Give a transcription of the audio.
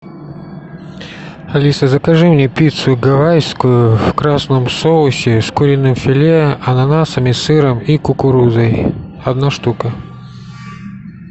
алиса закажи мне пиццу гавайскую в красном соусе с куриным филе ананасами сыром и кукурузой одна штука